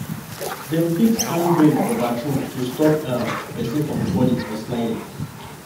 dem fix handrail for bathroom to stop um person from falling or sliding